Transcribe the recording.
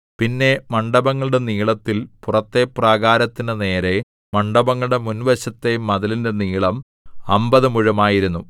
പുറമെ മണ്ഡപങ്ങളുടെ നീളത്തിൽ പുറത്തെ പ്രാകാരത്തിന്റെ നേരെ മണ്ഡപങ്ങളുടെ മുൻവശത്തെ മതിലിന്റെ നീളം അമ്പത് മുഴം ആയിരുന്നു